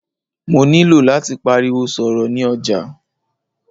Mó nilò láti pariwo sọ̀rọ̀ ni ọjà.